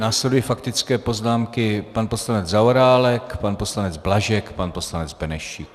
Následují faktické poznámky - pan poslanec Zaorálek, pan poslanec Blažek, pan poslanec Benešík.